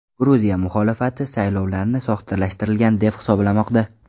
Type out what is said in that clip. Gruziya muxolifati saylovlarni soxtalashtirilgan deb hisoblamoqda.